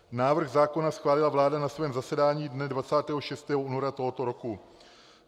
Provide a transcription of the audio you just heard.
Návrh zákona schválila vláda na svém zasedání dne 26. února tohoto roku.